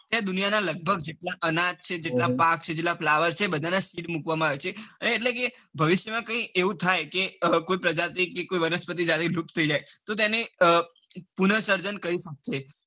ખેર લગભગ દુનિયા ના લગભગ જેટલા અનાજ છે જેટલા પાક છે જેટલા flowers બધા ના બીજ મુકવામાં આવ્યા છે અને એટલે કે ભવિસ્ય માં કૈક એવું થાય કે કોઈ પ્રજાતિ કે કોઇ વનસ્પતિ લુપ્ત થઇ જાય તો તેણે પન સર્જન કરી શકાય.